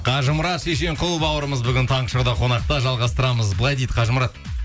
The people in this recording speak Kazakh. қажымұрат шешенқұл бауырымыз бүгін таңғы шоуда қонақта жалғастырамыз былай дейді қажымұрат